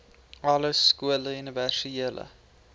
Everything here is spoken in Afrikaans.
alle skole universele